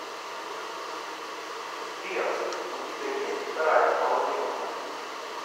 сбер у тебя есть вторая половинка